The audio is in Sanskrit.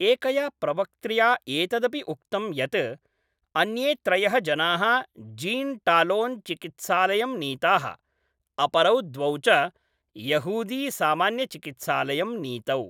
एकया प्रवक्त्र्या एतदपि उक्तं यत् अन्ये त्रयः जनाः जीन् टालोन् चिकित्सालयं नीताः, अपरौ द्वौ च यहूदीसामान्यचिकित्सालयं नीतौ।